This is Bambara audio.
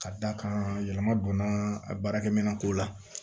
Ka d'a kan yɛlɛma donna a baarakɛminɛnko la